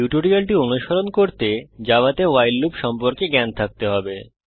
টিউটোরিয়ালটি অনুসরণ করতে জাভাতে ভাইল লুপ সম্পর্কে জ্ঞান থাকতে হবে